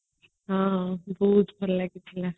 ହଁ dues ଫେରେ ଲାଗିଥିଲା